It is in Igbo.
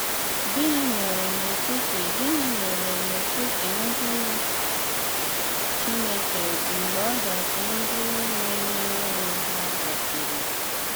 Gịnị̀ méré n’etiti Gịnị̀ méré n’etiti ndị Chineke mgbè ọdachi ndị na-emere onwé há gasịrị?